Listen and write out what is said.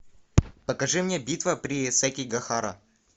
покажи мне битва при сэкигахара